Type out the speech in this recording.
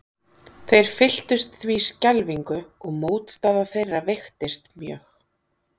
Þeir fylltust því skelfingu og mótstaða þeirra veiktist mjög.